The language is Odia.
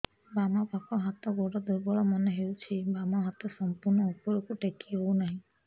ବାମ ପାଖ ହାତ ଗୋଡ ଦୁର୍ବଳ ମନେ ହଉଛି ବାମ ହାତ ସମ୍ପୂର୍ଣ ଉପରକୁ ଟେକି ହଉ ନାହିଁ